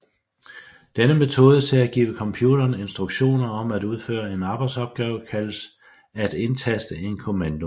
Denne metode til at give computeren instruktioner om at udføre en arbejdsopgave kaldes at indtaste en kommando